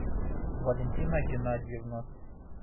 валентина геннадьевна